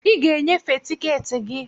I ga e nyefee tiketi gị.